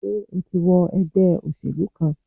Sé o ti wọ ègbé òṣèlú kan?